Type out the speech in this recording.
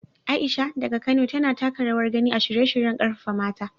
Aisha, daga Kano, tana taka rawar gani a shirye-shiryen karfafa mata.